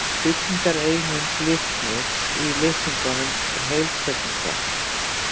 Byggingareining litnis í litningum heilkjörnunga.